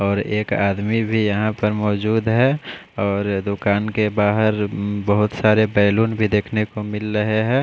और एक आदमी भी यहाँ पर मौजूद है और दुकान के बहार उम्म बहोत सारे बेलून भी देखने को मिल रहे है।